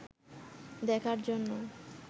দেখার জন্য